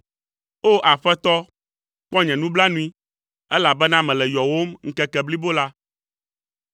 O! Aƒetɔ, kpɔ nye nublanui, elabena mele yɔwòm ŋkeke blibo la.